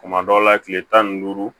Kuma dɔw la kile tan ni duuru